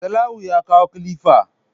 Salawu ya kawo kilifa